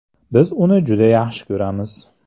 Biz uni juda yaxshi ko‘ramiz.